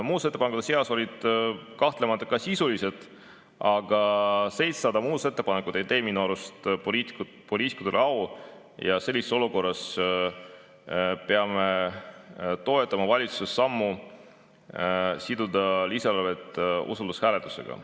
Muudatusettepanekute seas olid kahtlemata ka sisulised ettepanekud, aga 700 muudatusettepanekut ei tee minu arust poliitikutele au ja sellises olukorras peame toetama valitsuse sammu siduda lisaeelarve usaldushääletusega.